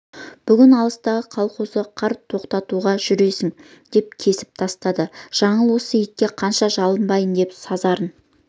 бүгін алыстағы колхозға қар тоқтатуға жүресің деп кесіп тастады жаңыл осы итке қанша жалынбай деп сазарын